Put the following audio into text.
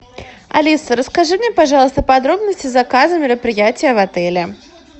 алиса расскажи мне пожалуйста подробности заказа мероприятия в отеле